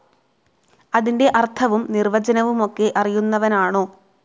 അതിൻ്റെ അർത്ഥവും നിർവചനവുമൊക്കെ അറിയുന്നവനാണോ?